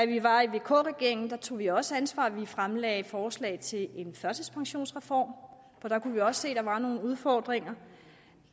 vi var i vk regeringen tog vi også ansvar vi fremsatte et forslag til en førtidspensionsreform for da kunne vi også se at der var nogle udfordringer